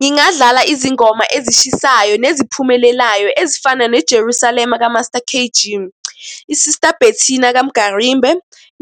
Ngingadlala izingoma ezishisayo neziphumelelayo ezifana ne-Jerusalem ka-Master K_G, i-Sister Bettina ka-Mgarimbe,